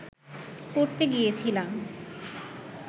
করতে গিয়েছিলাম